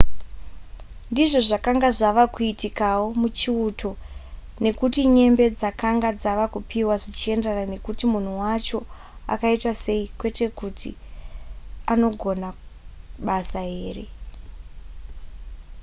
ndizvo zvakanga zvava kuitikawo muchiuto nekuti nyembe dzakanga dzava kupiwa zvichienderana nekuti munhu wacho akaita sei kwete kugona kwake basa